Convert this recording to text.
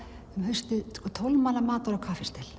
um haustið tólf manna matar og